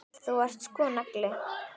Þú ert sko nagli.